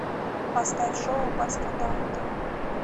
поставь шоу аббатство даунтон